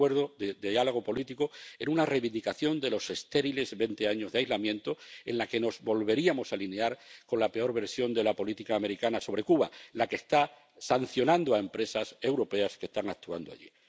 El Acuerdo de Diálogo Político y de Cooperación era una reivindicación de los estériles veinte años de aislamiento con la que nos volveríamos a alinear con la peor versión de la política americana sobre Cuba, la que está sancionando a empresas europeas que están actuando allí.